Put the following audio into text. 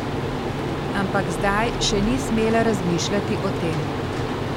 Ampak zdaj še ni smela razmišljati o tem.